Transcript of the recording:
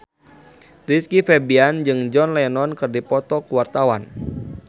Rizky Febian jeung John Lennon keur dipoto ku wartawan